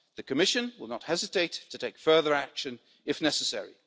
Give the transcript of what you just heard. The Commission will not hesitate to take further action if necessary.